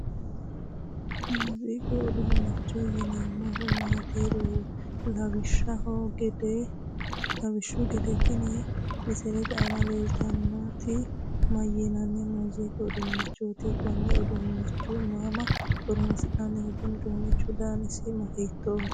muuziiqu uduunnichooti yeneemmohu maati? lawishshu gede tini misilete aana leeltannoti mayiinanni muuziiqu uduunnichooti? konne uduunnicho mama horonsi'nanni? kuni uduunnichi danasi hiittooho?